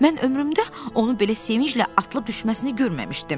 Mən ömrümdə onu belə sevinclə atılıb düşməsini görməmişdim.